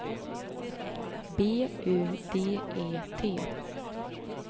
B U D E T